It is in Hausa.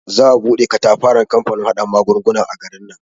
Za a bude katafaren kamfanin haɗa magunguna a garin nan.